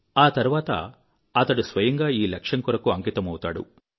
ఆ తర్వాత అతడు స్వయంగా ఈ లక్ష్యం కొరకు అంకితమౌతాడు